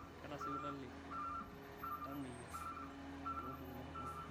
ketaa sipitali ntamiyiak lompukunot kumok